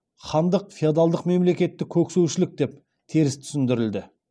хандық феодалдық мемлекетті көксеушілік деп теріс түсіндірілді